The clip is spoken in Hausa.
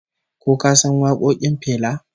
Ko ka san wakokin Fela?